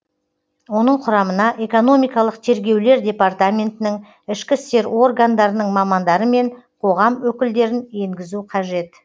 оның құрамына экономикалық тергеулер департаментінің ішкі істер органдарының мамандары мен қоғам өкілдерін енгізу қажет